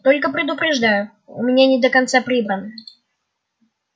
только предупреждаю у меня не до конца прибрано